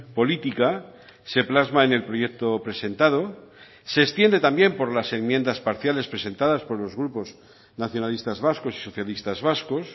política se plasma en el proyecto presentado se extiende también por las enmiendas parciales presentadas por los grupos nacionalistas vascos y socialistas vascos